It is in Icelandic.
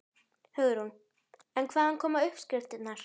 Hugrún: En hvaðan koma uppskriftirnar?